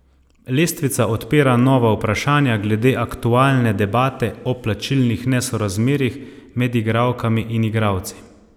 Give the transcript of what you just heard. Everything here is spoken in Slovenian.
Lestvica odpira nova vprašanja glede aktualne debate o plačnih nesorazmerjih med igralkami in igralci.